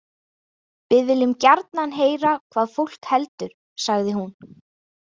Við viljum gjarnan heyra hvað fólk heldur, sagði hún.